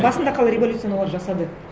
басында қалай революцияны олар жасады